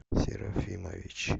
серафимович